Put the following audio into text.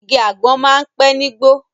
Igi àgbọ̀n máa ń pẹ̀ nígbó